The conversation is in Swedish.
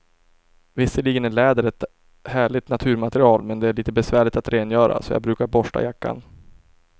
Visserligen är läder ett härligt naturmaterial, men det är lite besvärligt att rengöra, så jag brukar borsta jackan.